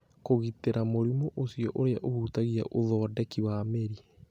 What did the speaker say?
Kũgitĩra mũrimũ ũcio ũrĩa ũhutagia ũthondeki wa mĩri